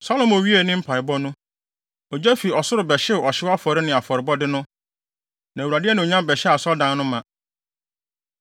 Salomo wiee ne mpaebɔ no, ogya fi ɔsoro bɛhyew ɔhyew afɔre ne afɔrebɔde no, na Awurade anuonyam bɛhyɛɛ Asɔredan no ma.